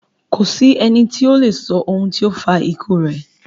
Kò sí ẹni to lè sọ ohun tó fa ikú rẹ̀.